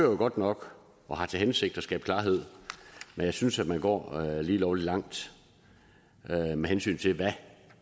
jo godt nok og har til hensigt at skabe klarhed men jeg synes at man går lige lovlig langt med hensyn til hvad